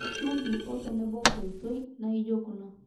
shumbi otenebo nkoitoi naijo kuna